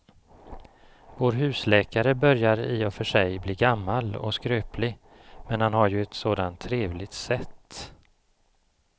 Vår husläkare börjar i och för sig bli gammal och skröplig, men han har ju ett sådant trevligt sätt!